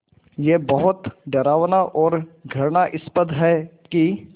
ये बहुत डरावना और घृणास्पद है कि